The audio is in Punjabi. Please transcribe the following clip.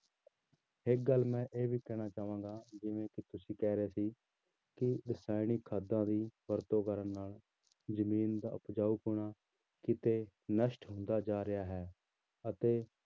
ਇੱਕ ਗੱਲ ਮੈਂ ਇਹ ਵੀ ਕਹਿਣਾ ਚਾਹਾਂਗਾ ਜਿਵੇਂ ਕਿ ਤੁਸੀਂ ਕਹਿ ਰਹੇ ਸੀ ਕਿ ਰਸਾਇਣਿਕ ਖਾਦਾਂ ਦੀ ਵਰਤੋਂ ਕਰਨ ਨਾਲ ਜ਼ਮੀਨ ਦਾ ਉਪਜਾਊ ਪੁਣਾ ਕਿਤੇ ਨਸ਼ਟ ਹੁੰਦਾ ਜਾ ਰਿਹਾ ਹੈ ਅਤੇ